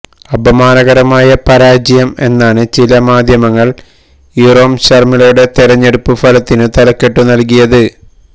അപമാനകരമായ പരാജയം എന്നാണ് ചില മാധ്യമങ്ങള് ഇറോം ശര്മിളയുടെ തെരഞ്ഞെടുപ്പു ഫലത്തിനു തലക്കെട്ടു നല്കിയത്